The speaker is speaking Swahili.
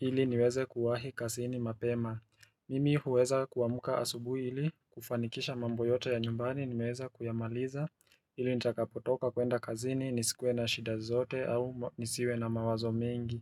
ili niweze kuwahi kazini mapema Mimi huweza kuamka asubui ili kufanikisha mambo yote ya nyumbani nimeweza kuyamaliza ili nitakapotoka kuenda kazini nisikue na shida zote au nisiwe na mawazo mingi.